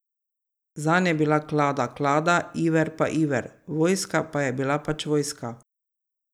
Zanj je bila klada klada, iver pa iver, vojska pa je bila pač vojska.